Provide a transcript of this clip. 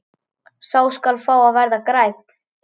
Sá skal fá að verða grænn!